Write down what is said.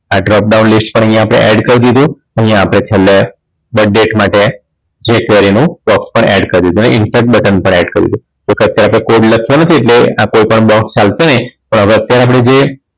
આ job down list પણ અહીંયા આપણે add કરી દીધું અહીંયા આપણે છેલ્લે birth date માટે જે query નું box પણ add કરી દીધું અને insert button પણ add કરી દીધું. અત્યારે આપણે code લખીએ છીએ કોઈ પણ box ચાલશે હવે અત્યારે આપણે જે